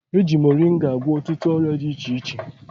Eji moringa agwọ ọtụtụ ọrịa dị iche iche